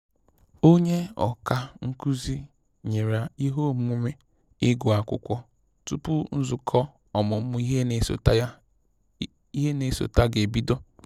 Onye ọkà nkụzi nyere ihe omume ịgụ akwụkwọ tupu nzukọ ọmụmụ ihe na esote ga ebido